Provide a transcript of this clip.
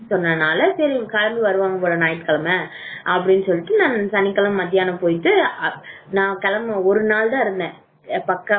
சொன்னதுனால சரி எல்லாரும் கிளம்பி வருவாங்க போல ஞாயிற்றுக்கிழமை அப்படின்னு சொல்லிட்டு சனிக்கிழமை மத்தியானம் போயிட்டு ஒரு நாள் தான் இருந்தேன் நான் கிளம்பி ஒரு நாள் தான் இருந்தேன் பக்காவா